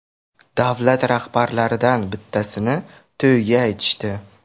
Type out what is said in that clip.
Davlat rahbarlaridan bittasini to‘yiga aytishdi.